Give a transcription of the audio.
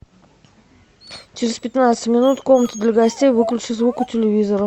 через пятнадцать минут комната для гостей выключи звук у телевизора